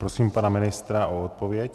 Prosím pana ministra o odpověď.